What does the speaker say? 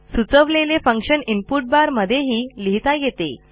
सुचवलेले function input bar मध्येही लिहिता येते